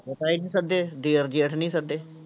ਨੀ ਸੱਦੇ ਦਿਓਰ ਜੇਠ ਅਸੀਂ ਨੀ ਸੱਦੇ।